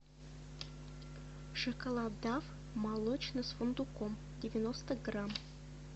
шоколад дав молочный с фундуком девяносто грамм